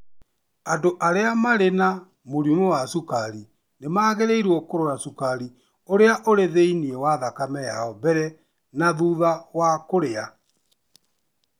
Andũ arĩa marĩ na mũrimũ wa cukari nĩ magĩrĩirũo kũrora cukari ũrĩa ũrĩ thĩinĩ wa thakame yao mbere na thutha wa kũrĩa.